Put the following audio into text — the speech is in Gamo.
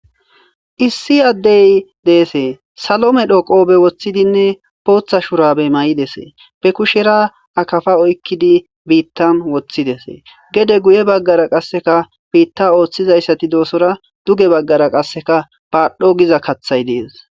issi addey deesee salome dho qoobe woththidinne pootha shurabey may7idesee be kushera akafa oykkidi biittan woththidese gede guye baggara qasseka biitta ooththizayssati doosora duge baggara qasseka baadhdho giza kathay dees